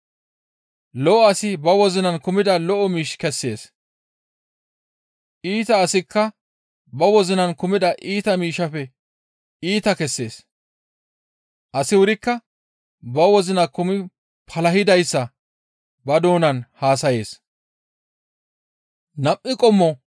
Lo7o asi ba wozinaa kumida lo7o miish kessees; iita asikka ba wozina kumida iita miishshaafe iita kessees; asi wurikka ba wozina kumi palahidayssa ba doonan haasayees.